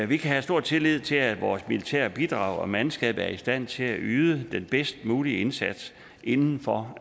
vi kan have stor tillid til at vores militære bidrag og mandskab er i stand til at yde den bedst mulige indsats inden for